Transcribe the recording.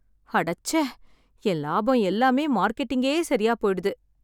அடச்சே. என் லாபம் எல்லாமே மார்க்கெட்டிங்கே சரியா போயிடுது.